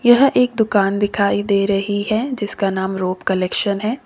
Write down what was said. यह एक दुकान दिखाई दे रही है जिसका नाम रूप कलेक्शन है।